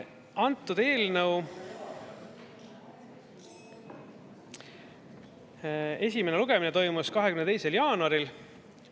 Antud eelnõu esimene lugemine toimus 22. jaanuaril.